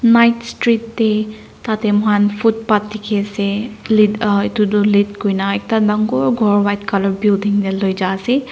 night street de tate muhan footpath diki ase lit uhh etu tu lit kurina ekta dangor ghor white color building de loi jai ase.